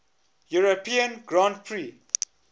european grand prix